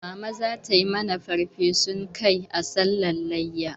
Mama zata mana farfesun kai a sallar layya